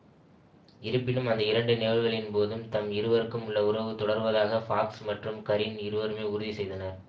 இருப்பினும் அந்த இரண்டு நிகழ்வுகளின்போதும் தம் இருவருக்கும் உள்ள உறவு தொடர்வதாக ஃபாக்ஸ் மற்றும் கரீன் இருவருமே உறுதி செய்தனர்